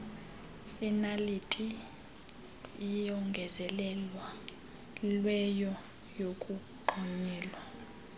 inaliti eyongezelelweyo yokugonyela